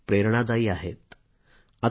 त्या प्रत्येक हिंदुस्तानीला प्रेरक ठरतील